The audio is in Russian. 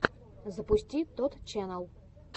запусти тотт ченнал